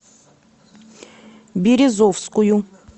березовскую